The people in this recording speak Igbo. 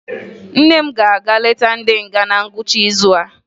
Nne m ga-aga leta ndị nga na ngwụcha izu a